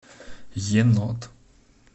енот